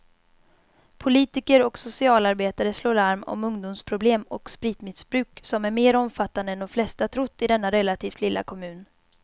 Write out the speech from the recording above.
Politiker och socialarbetare slår larm om ungdomsproblem och spritmissbruk som är mer omfattande än de flesta trott i denna relativt lilla kommun.